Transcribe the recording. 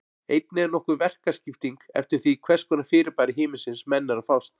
Einnig er nokkur verkaskipting eftir því við hvers konar fyrirbæri himinsins menn eru að fást.